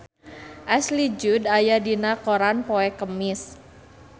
Ashley Judd aya dina koran poe Kemis